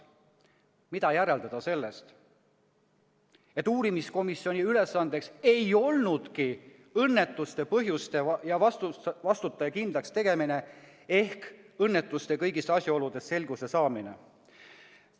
Mida järeldada sellest, et uurimiskomisjoni ülesanne ei olnudki õnnetuse põhjuste ja vastutaja kindlakstegemine ehk õnnetuse kõigis asjaoludes selguse saamine?